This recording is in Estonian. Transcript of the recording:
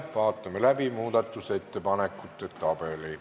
Vaatame läbi muudatusettepanekute tabeli.